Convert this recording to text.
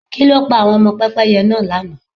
Kí ló pa àwọn ọmọ Pẹ́pẹ́yẹ náà lànà?